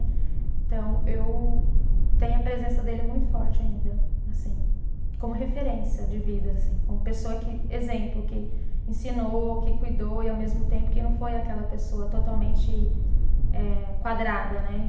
Então, eu tenho a presença dele muito forte ainda, assim, como referência de vida, assim, como pessoa que, exemplo, que ensinou, que cuidou e ao mesmo tempo que não foi aquela pessoa totalmente eh quadrada, né?